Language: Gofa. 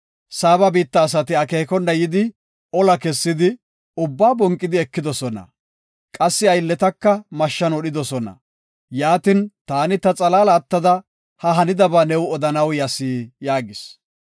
Saaba biitta asati akeekona yidi ola kessidi, ubbaa bonqidi ekidosona; qassi aylletaka mashshan wodhidosona. Yaatin, taani ta xalaala attada ha hanidaba new odanaw yas” yaagis.